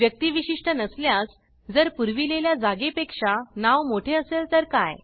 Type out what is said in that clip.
व्यक्तीविशिष्ट नसल्यास जर पुरविलेल्या जागे पेक्षा नाव मोठे असेल तर काय